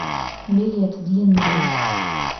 билет длинный нос